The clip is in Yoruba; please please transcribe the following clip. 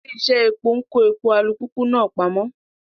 Ilé-iṣẹ́ epo ń kó epo alùpùpù náà pamọ́.